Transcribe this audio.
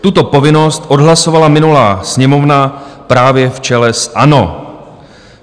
Tuto povinnost odhlasovala minulá Sněmovna právě v čele s ANO.